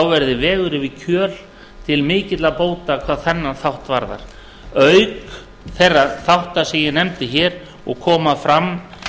verði vegur yfir kjöl til mikilla bóta hvað þennan þátt varðar auk þeirra þátta sem ég nefndi hér og koma fram